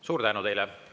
Suur tänu teile!